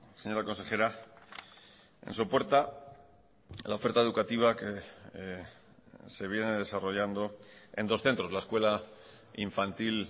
señora consejera en sopuerta la oferta educativa que se viene desarrollando en dos centros la escuela infantil